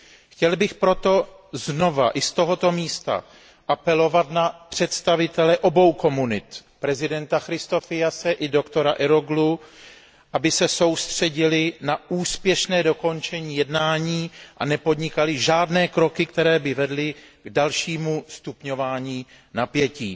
Chtěl bych proto znova i z tohoto místa apelovat na představitele obou komunit, prezidenta Christofiase i doktora Eroğlu, aby se soustředili na úspěšné dokončení jednání a nepodnikali žádné kroky, které by vedly k dalšímu stupňování napětí.